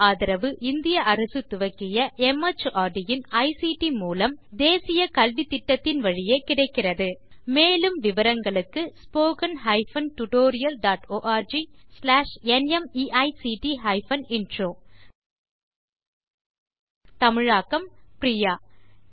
national mission on education through ICT மார்ட் government of India ஆதரவுடன் இது நடைபெறுகிறது மேலும் விவரங்களுக்கு spoken hyphen tutorial dot org slash NMEICT hyphen intro தமிழாக்கம் பிரியா